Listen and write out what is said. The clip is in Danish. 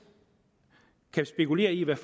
kan spekulere i hvad